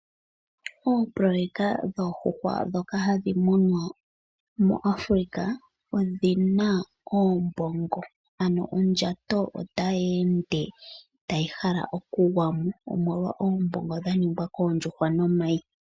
Oopoloyeka dhoohuhwa dhoka hadhi munwa moAfrika, odhina oombongo. Ano ondjato ota yeende tayi hala oku gwa mo omolwa oombongo dha ningwa koondjuhwa nomayi .